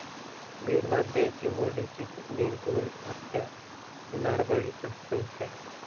बीडमध्ये चिमरुडीची निर्घृण हत्या, नरबळीचा संशय